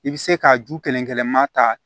I bɛ se ka ju kelen kelenma ta